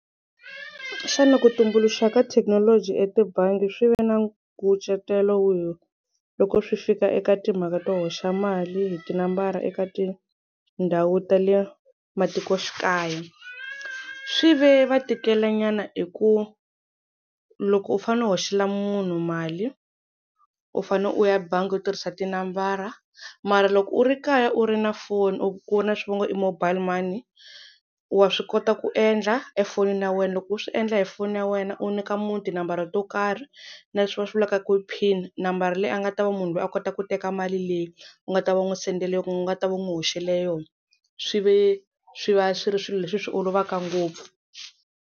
Xana ku tumbuluxiwa ka thekinoloji etibangi swi ve na nkucetelo wihi loko swi fika eka timhaka to hoxa mali hi tinambara eka tindhawu ta le matikoxikaya? Swi ve va tikela nyana hi ku loko u fanele u hoxela munhu mali u fane u ya bangi u tirhisa tinambara mara loko u ri kaya u ri na foni u ri na swi va ngo i mobile money wa swi kota ku endla efonini ya wena loko u swi endla hi foni ya wena u nyika munhu tinambara to karhi na leswi va swi vulaka ku pin nambara leyi a nga ta va munhu loyi a kota ku teka mali leyi u nga ta va n'wi sendela yona kumbe u nga ta va n'wi hoxela yona swi ve swi va swi ri swilo leswi swi olovaka ngopfu.